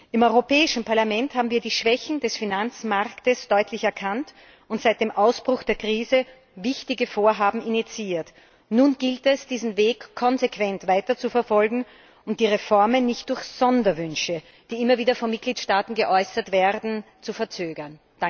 Im Europäischen Parlament haben wir die Schwächen des Finanzmarktes deutlich erkannt und seit dem Ausbruch der Krise wichtige Vorhaben initiiert. Nun gilt es, diesen Weg konsequent weiterzuverfolgen und die Reformen nicht durch Sonderwünsche, die immer wieder von Mitgliedstaaten geäußert werden, zu verzögern.